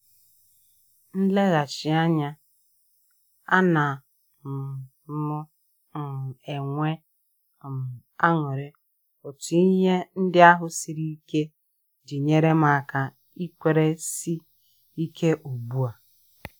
M lee ghachi anya, a na um m um enwe um aṅụrị otu ihe ndị ahụ sịrị ike ji nyerem aka ikwere si ike ugbua